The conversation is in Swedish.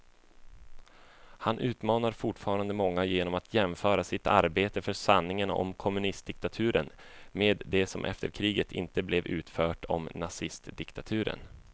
Han utmanar fortfarande många genom att jämföra sitt arbete för sanningen om kommunistdiktaturen med det som efter kriget inte blev utfört om nazidiktaturen.